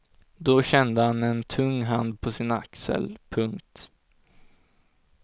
Då kände han en tung hand på sin axel. punkt